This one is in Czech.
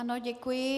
Ano, děkuji.